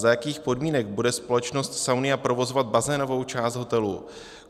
Za jakých podmínek bude společnost Saunia provozovat bazénovou část hotelu?